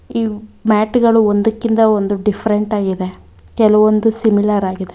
ಈ ಮ್ಯಾಟು ಗಳು ಒಂದಕ್ಕಿಂತ ಒಂದು ಡಿಫ್ರೆಂಟ್ ಆಗಿದೆ ಕೆಲವೊಂದು ಸಿಮಿಲರ್ ಆಗಿದೆ.